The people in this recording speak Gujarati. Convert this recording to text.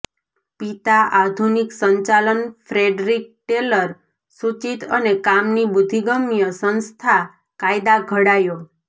પિતા આધુનિક સંચાલન ફ્રેડરિક ટેલર સૂચિત અને કામની બુદ્ધિગમ્ય સંસ્થા કાયદા ઘડાયો